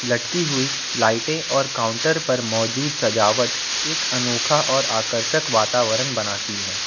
लटकी हुई लाइटें और काउंटर पर मौजूद सजावट एक अनोखा और आकर्षक वातावरण बनाती है।